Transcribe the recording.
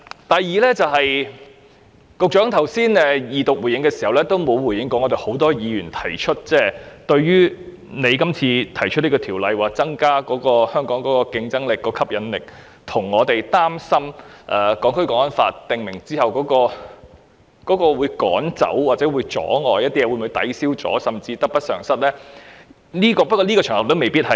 第二，局長剛才在二讀答辯時沒有回應很多議員提出的疑問：《條例草案》旨在增加香港的競爭力和吸引力，而很多議員則擔心《港區國安法》實施後，當局會否驅趕或阻礙投資者，導致得失相抵，甚至得不償失？